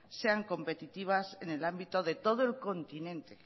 sean competitivas en el ámbito de todo el continente